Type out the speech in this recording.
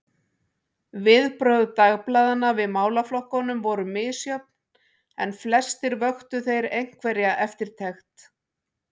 Viðbrögð dagblaðanna við málaflokkunum voru misjöfn, en flestir vöktu þeir einhverja eftirtekt.